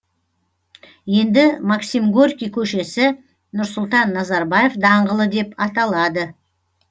енді максим горький көшесі нұрсұлтан назарбаев даңғылы деп аталады